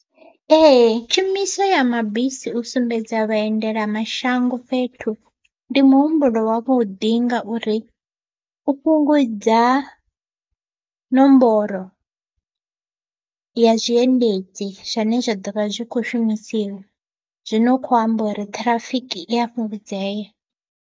Ee tshumiso ya mabisi u sumbedza vhaendela mashango fhethu, ndi muhumbulo wavhuḓi ngauri u fhungudza ṋomboro ya zwiendedzi zwane zwa ḓovha zwi kho shumisiwa, zwono kho amba uri ṱhirafiki iya fhungudzeya.